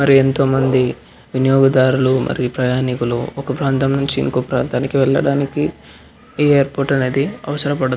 మరి ఎంతో మంది వినియోగదారులు మరి ప్రయాణికులు ఒక ప్రాతం నుంచి ఇంకొంక ప్రాతంకి వెళ్ళడానికి ఈ ఎయిర్పోర్ట్ అనేది అవసరం పడుతుంది --